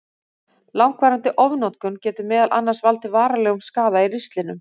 Langvarandi ofnotkun getur meðal annars valdið varanlegum skaða í ristlinum.